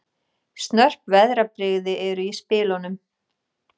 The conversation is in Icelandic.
Snörp veðrabrigði eru í spilunum